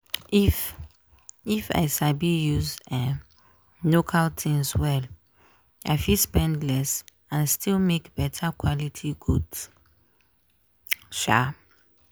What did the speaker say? if if i sabi use um local things well i fit spend less and still make better quality goods. um